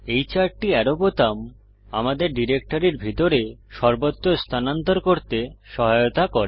এই চারটি অ্যারো বোতাম আমাদের ডিরেক্টরির ভিতরে সর্বত্র স্থানান্তর করতে সহায়তা করে